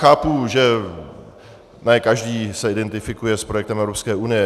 Chápu, že ne každý se identifikuje s projektem Evropské unie.